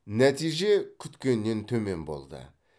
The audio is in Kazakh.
нәтиже күткеннен төмен болды